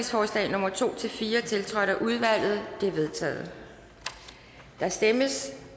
nummer to fire tiltrådt af udvalget de er vedtaget der stemmes